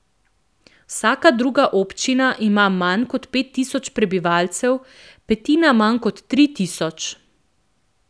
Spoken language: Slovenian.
Vsaka druga občina ima manj kot pet tisoč prebivalcev, petina manj kot tri tisoč.